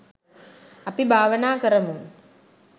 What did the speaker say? අපි භාවනා කරමු